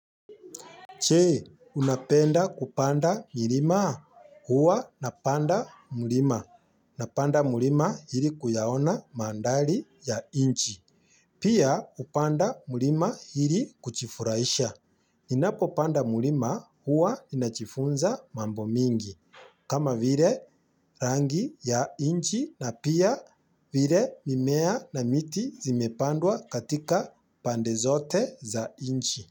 Che, unapenda kupanda mirima. Huwa napanda mlima. Napanda mlima ili kuyaona mandhali ya inchi. Pia hupanda mlima ili kuchifurahisha. Ninapopanda mlima huwa inachifunza mambo mingi. Kama vile rangi ya inchi na pia vire mimea na miti zimepandwa katika pande zote za inchi.